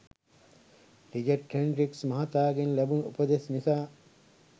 Richard Hendricks මහතාගෙන් ලැබුණු උපදෙස් නිසා